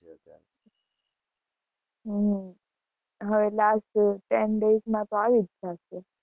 હમ હવે last ten days માં તો આવી જ જાશે.